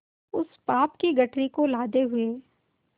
उस पाप की गठरी को लादे हुए